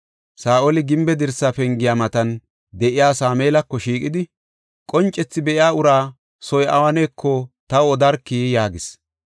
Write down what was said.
Saa7oli gimbe dirsa pengiya matan de7iya Sameelako shiiqidi, “Qoncethi be7iya ura soy awuneko taw odarkii?” yaagis.